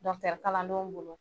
Dɔɲitɛri kalandenw bolo.